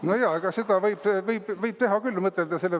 Nojah, seda võib küll mõtelda ja teha.